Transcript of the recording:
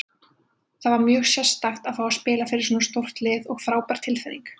Það var mjög sérstakt að fá að spila fyrir svona stórt lið og frábær tilfinning.